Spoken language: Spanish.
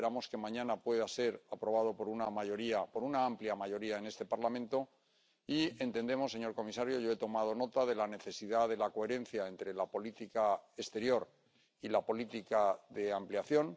Esperamos que mañana pueda ser aprobado por una amplia mayoría en este Parlamento y entendemos, señor comisario, y yo he tomado nota de la necesidad de la coherencia entre la política exterior y la política de ampliación.